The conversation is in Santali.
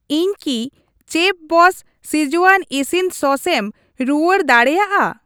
ᱤᱧ ᱠᱤ ᱪᱮᱯᱷᱵᱚᱥᱥ ᱥᱠᱤᱡᱣᱟᱱ ᱤᱥᱤᱱ ᱥᱚᱥ ᱮᱢ ᱨᱩᱣᱟᱹᱲ ᱫᱟᱲᱮᱭᱟᱜᱼᱟ?